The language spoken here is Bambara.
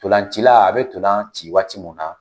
Ntolancila a bɛ ntolanci waati mun na